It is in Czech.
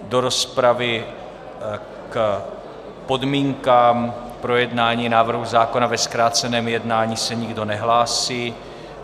Do rozpravy k podmínkám projednání návrhu zákona ve zkráceném jednání se nikdo nehlásí.